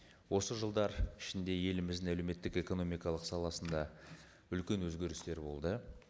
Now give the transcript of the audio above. осы жылдар ішінде еліміздің әлеуметтік экономикалық саласында үлкен өзгерістер болды